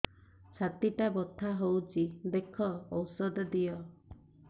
ଛାତି ଟା ବଥା ହଉଚି ଦେଖ ଔଷଧ ଦିଅ